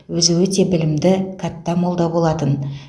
өзі өте білімді кәтта молда болатын